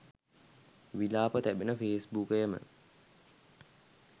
විලාප තැබෙන ෆේස්බුකයම